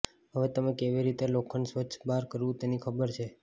હવે તમે કેવી રીતે લોખંડ સ્વચ્છ બાર કરવું તેની ખબર છે